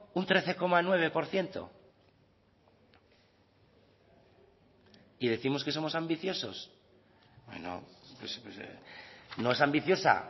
un trece coma nueve por ciento y décimos que somos ambiciosos no es ambiciosa